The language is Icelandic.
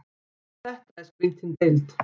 Þetta er skrýtin deild.